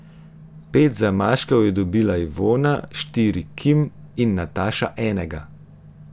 Pet zamaškov je dobila Ivona, štiri Kim in Nataša enega.